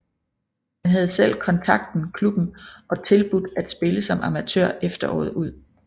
Han havde selv kontakten klubben og tilbudt at spille som amatør efteråret ud